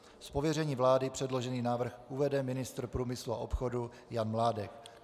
Z pověření vlády předložený návrh uvede ministr průmyslu a obchodu Jan Mládek.